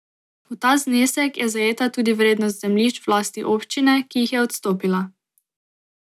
V ta znesek je zajeta tudi vrednost zemljišč v lasti občine, ki jih je odstopila.